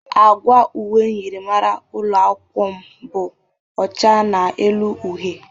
Agwa uwe myịrịmara ụlọ akwụkwọ m bụ ọcha n'elu uhe.